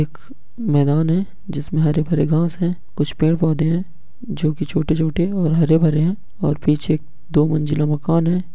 एक मैदान है जिसमें हरे-भरे घास है कुछ पेड़-पौधे है जो कि छोटे-छोटे और हरे-भरे है और पीछे दो मंजिला मकान है।